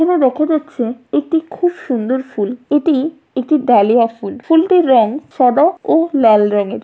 এখানে দেখা যাচ্ছে একটি খুব সুন্দর ফুল এটি একটি ডালিয়া ফুল ফুলটির রং সাদা ও লাল রঙের।